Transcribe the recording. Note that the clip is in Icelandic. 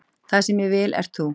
Það sem ég vil ert þú